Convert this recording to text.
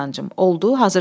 Oldu, hazırsanmı?